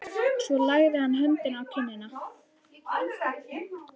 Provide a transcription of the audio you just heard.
Svo lagði hann höndina á kinnina.